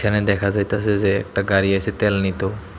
এখানে দেখা যাইতাসে যে একটা গাড়ি আসে ত্যাল নিত।